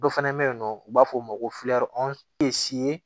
Dɔ fana bɛ yen nɔ u b'a fɔ o ma ko